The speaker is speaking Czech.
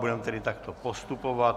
Budeme tedy takto postupovat.